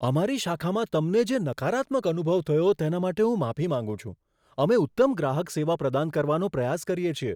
અમારી શાખામાં તમને જે નકારાત્મક અનુભવ થયો તેના માટે હું માફી માંગું છું. અમે ઉત્તમ ગ્રાહક સેવા પ્રદાન કરવાનો પ્રયાસ કરીએ છીએ.